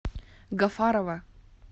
гафарова